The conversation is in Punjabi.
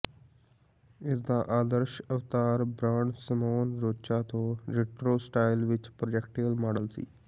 ਇਸਦਾ ਆਦਰਸ਼ ਅਵਤਾਰ ਬ੍ਰਾਂਡ ਸਿਮੋਨ ਰੋਚਾ ਤੋਂ ਰਿਟਰੋ ਸਟਾਈਲ ਵਿਚ ਪ੍ਰੈਕਟੀਕਲ ਮਾਡਲ ਸੀ